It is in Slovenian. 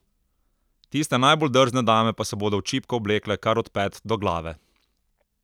Tiste najbolj drzne dame pa se bodo v čipko oblekle kar od pet do glave!